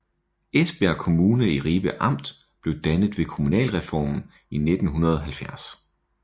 Esbjerg Kommune i Ribe Amt blev dannet ved kommunalreformen i 1970